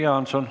Jüri Jaanson.